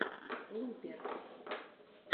лупер